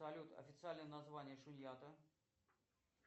салют официальное название шуньята